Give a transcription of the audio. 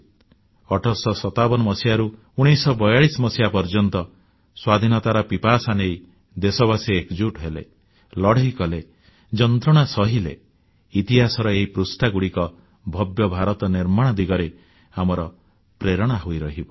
1857ରୁ 1942 ପର୍ଯ୍ୟନ୍ତ ସ୍ୱାଧୀନତାର ପିପାସା ନେଇ ଦେଶବାସୀ ଏକଜୁଟ୍ ହେଲେ ଲଢ଼େଇ କଲେ ଯନ୍ତ୍ରଣା ସହିଲେ ଇତିହାସର ଏହି ପୃଷ୍ଠାଗୁଡ଼ିକ ଭବ୍ୟ ଭାରତ ନିର୍ମାଣ ଦିଗରେ ଆମର ପ୍ରେରଣା ହୋଇରହିବ